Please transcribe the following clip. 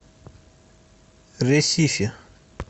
ресифи